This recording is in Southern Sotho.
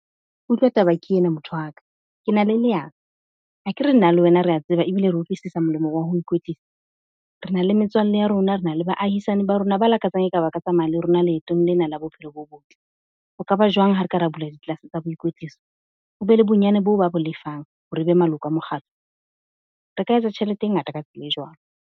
Utlwa taba ke ena motho wa ka. Ke na le le leano, akere nna le wena re ya tseba ebile re utlwisisa molemo wa ho ikwetlisa? Re na le metswalle ya rona, re na le baahisane ba rona ba lakatsang e ka ba ka tsamaya le rona leetong lena la bophelo bo botle. Ho ka ba jwang ha re ka re bula di-class tsa boikwetliso? Ho be le bonyane boo ba bo lefang hore e be maloko a mokgatlo. Re ka etsa tjhelete e ngata ka tsela e jwalo.